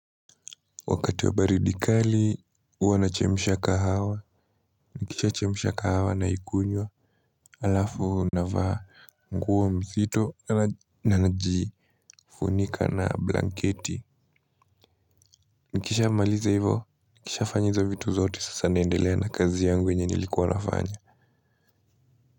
Wakati wa baridi kali huwa nachemsha kahawa nikisha chemsha kahawa na ikunywa alafu na vaa nguo nzito na naji funika na blanketi nikisha maliza hivo nikishaa fanya hizo vitu zote sasa naendelea na kazi yangu yenye nilikuwa nafanya.